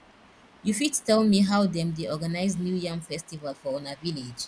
you fit tell me how them dey organize new yam festival for una village